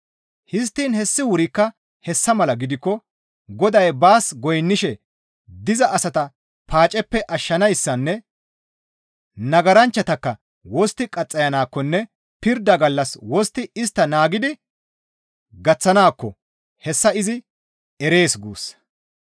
Histtiin hessi wurikka hessa mala gidikko Goday baas goynnishe diza asata paaceppe ashshanayssanne nagaranchchatakka wostti qaxxayanaakkonne pirda gallassas wostti istta naagidi gaththanaakko hessa izi erees guussa.